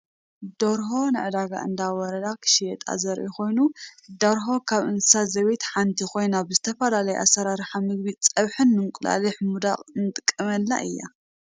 ደርሆ ንዕዳጋ እንዳወረዳ ክሽየጣ ዘርኢ ኮይኑ ደርሆ ካብ እንስሳ ዘቤት ሓንቲ ኮይና ብዝተፈላለየ ኣሰራርሓ ምግቢ ፀብሒን ንእንቁላሊሕ ምውዳቅን ንጥቀመላ እያ።